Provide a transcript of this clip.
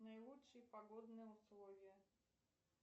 наилучшие погодные условия